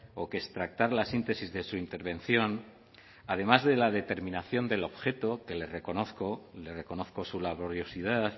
o que extractar las síntesis de su intervención además de la determinación del objeto que le reconozco le reconozco su laboriosidad